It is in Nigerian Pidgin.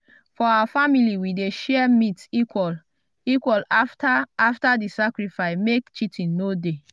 for our family we dey share meat equal equal after after di sacrifice make cheating no dey